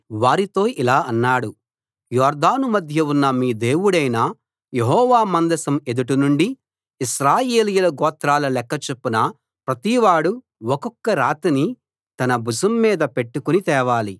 వారితో ఇలా అన్నాడు యొర్దాను మధ్య ఉన్న మీ దేవుడైన యెహోవా మందసం ఎదుట నుండి ఇశ్రాయేలీయుల గోత్రాల లెక్క చొప్పున ప్రతివాడూ ఒక్కొక్క రాతిని తన భుజం మీద పెట్టుకుని తేవాలి